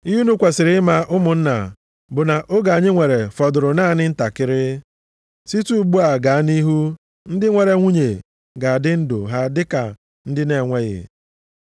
Ihe unu kwesiri ịma, ụmụnna, bụ na oge anyị nwere fọdụrụ naanị ntakịrị, site ugbu a gaa nʼihu ndị nwere nwunye ga-adị ndụ ha dịka ndị na-enweghị.